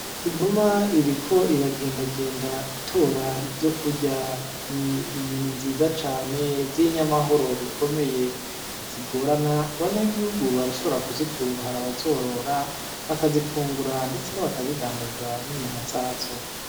Inuma iriko iragendagenda itora ivyokurya, Ni inyoni nziza cane z’inyamahoro bikomeye, ntizigorana abanyagihugu barashobora kuzitunga, hari abazoroza bakazifungura ndetse bakazidandaza n'inyama zazo.